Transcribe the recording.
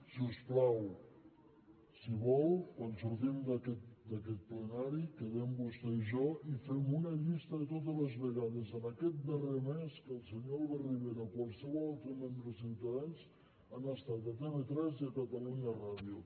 si us plau si vol quan sortim d’aquest plenari quedem vostè i jo i fem una llista de totes les vegades en aquest darrer mes que el senyor albert rivera o qualsevol altre membre de ciutadans han estat a tv3 i a catalunya ràdio